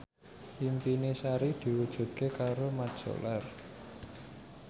impine Sari diwujudke karo Mat Solar